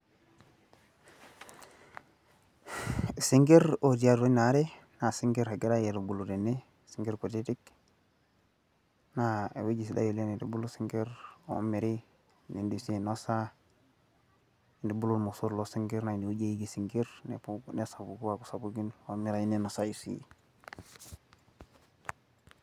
isinkir otii atua ina are. naa isinkir egirae aitubulu tene, isnkir kutitik, naa ewueji sidai oleng neitubulu sinkir oomiri, nidim sii ainosa, nintubulu irmosor loo sinkir nesapuku isinkir, omiirayu ninosayu sii.